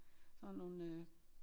Sådan nogle øh